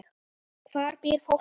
Hvar býr fólkið?